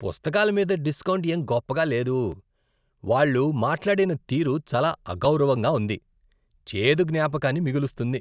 పుస్తకాల మీద డిస్కౌంట్ ఏం గొప్పగా లేదు, వాళ్ళు మాట్లాడిన తీరు చాలా అగౌరవంగా ఉంది. చేదు జ్ఞాపకాన్ని మిగులుస్తుంది.